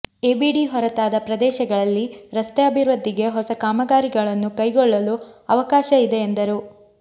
ABD ಹೊರತಾದ ಪ್ರದೇಶಗಳಲ್ಲಿ ರಸ್ತೆ ಅಭಿವೃದ್ಧಿಗೆ ಹೊಸ ಕಾಮಗಾರಿಗಳನ್ನು ಕೈಗೊಳ್ಳಲು ಅವಕಾಶ ಇದೆ ಎಂದರು